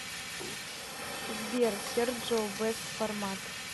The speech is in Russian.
сбер серджио бэст формат